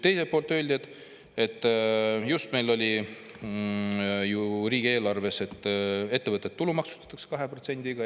Teiselt poolt meil oli just riigieelarves, et ettevõtted tulumaksustatakse 2%‑ga.